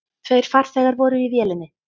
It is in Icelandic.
Tveir farþegar voru í vélinni.